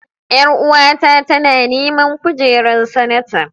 Ƴaruwa ta tana neman kujerar sanata.